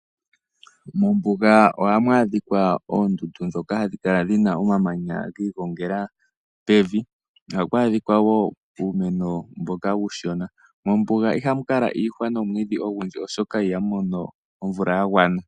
Mombuga ohamu adhika oondundu ndhoka hadhi kala dhi na omamanya gi igongela pevi. Ohaku adhika wo uumeno mboka uushona. Mombuga ihamu kala iihwa nomwiidhi ogundji, oshoka ihamu mono omvula ya gwana.